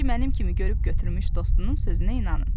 O da ki, mənim kimi görüb götürmüş dostunun sözünə inanın.